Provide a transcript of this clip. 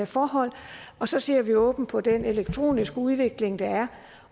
forhold og så ser vi åbent på den elektroniske udvikling der er